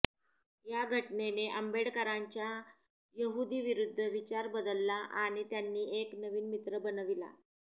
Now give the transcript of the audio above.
या घटनेने आंबेडकरांच्या यहुदीविरुद्ध विचार बदलला आणि त्यांनी एक नवीन मित्र बनविला